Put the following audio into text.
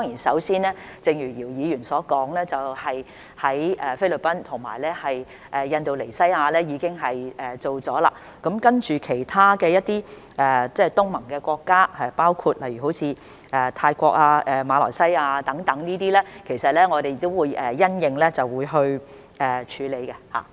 首先，正如姚議員所說，我們與菲律賓和印尼已經作出了安排；接着跟其他東盟國家，包括泰國和馬來西亞等，其實我們也會因應情況處理。